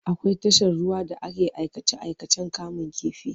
Akwai tashar ruwa da ake aikace-aikacen kamun kifi.